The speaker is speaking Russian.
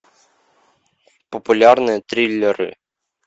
популярные триллеры